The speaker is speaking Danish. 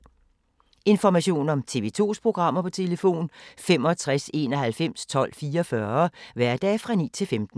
Information om TV 2's programmer: 65 91 12 44, hverdage 9-15.